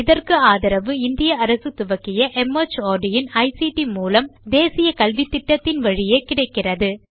இதற்கு ஆதரவு இந்திய அரசு துவக்கிய மார்ட் இன் ஐசிடி மூலம் தேசிய கல்வித்திட்டத்தின் வழியே கிடைக்கிறது